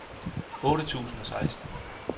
otte tusind og seksten